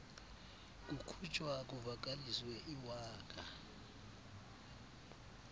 kukhutshwa kuvakaliswe iwaka